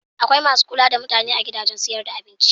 Akwai masu kula da mutane a gidajen siyar da abinci.